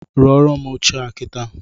Rụọrụ m oche a kitaa